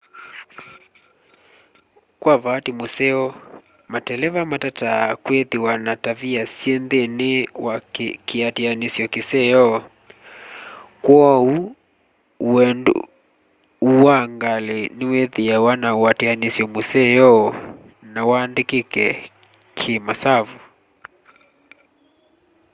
kwa vaati museo mateleva matataa kwithiwa na tavia syi nthini wa kiatianisyo kiseo kw'ou wendu wa ngali niwithiawa na uatianisyo museo na wandikike ki masavu